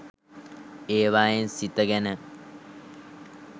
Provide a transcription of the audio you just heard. ඒවයින් සිත ගැන